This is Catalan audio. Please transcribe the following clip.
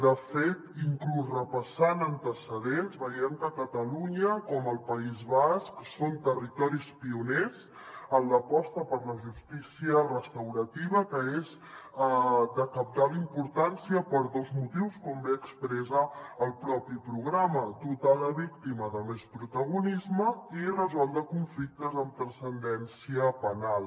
de fet inclús repassant antecedents veiem que catalunya com el país basc són territoris pioners en l’aposta per la justícia restaurativa que és de cabdal importància per dos motius com bé expressa el propi programa dotar la víctima de més protagonisme i resoldre conflictes amb transcendència penal